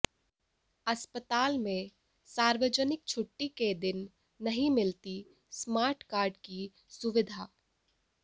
अस्पताल में सार्वजनिक छुट्टी के दिन नहीं मिलती स्मार्ट कार्ड की सुविधा